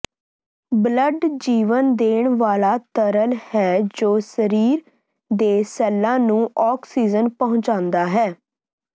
blood ਜੀਵਨ ਦੇਣ ਵਾਲਾ ਤਰਲ ਹੈ ਜੋ ਸਰੀਰ ਦੇ ਸੈੱਲਾਂ ਨੂੰ ਆਕਸੀਜਨ ਪਹੁੰਚਾਉਂਦਾ ਹੈ